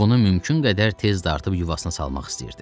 Ovunu mümkün qədər tez dartıb yuvasına salmaq istəyirdi.